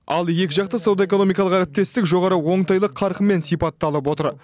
ал екіжақты сауда экономикалық әріптестік жоғары оңтайлы қарқынмен сипатталып отыр